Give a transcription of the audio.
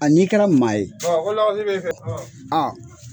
An'i kɛra maa ye